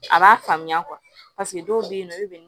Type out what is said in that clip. A b'a faamuya dɔw bɛ yen nɔ olu bɛ